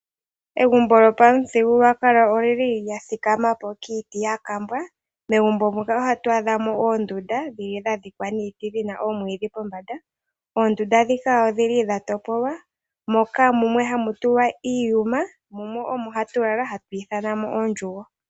Egumbo lyopamuthigululwakalo olili lya thikamapo kiiti yakambwa. Megumbo muka ohatu adhamo dhili dha dhikwa niiti dhina oomwidhi pombanda, oondunda ndhika odhili dha topolwa moka mumwe hamu tulwa iiyuma mumwe omo hatu lala hatu ithanamo ondjugo.